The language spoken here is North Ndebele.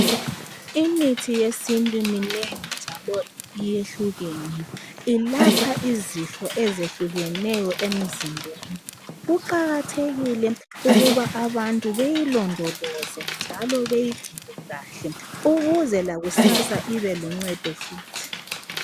Imithi yesintu iminengi njalo iyehlukene ilapha isifo ezehlukeneyo emzimbeni kuqakathekile ukuba bantu beyilondoloze njalo beyincine kahle ukuze lakusasa ibeluncedo futhi.